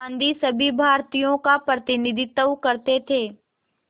गांधी सभी भारतीयों का प्रतिनिधित्व करते थे